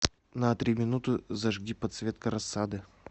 на три минуты зажги подсветка рассады